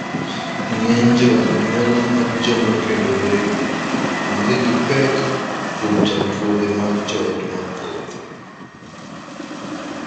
Ng'eny jo anyuola mag joma okendore onge gi pek kuom chandruoge mag joot mathoth.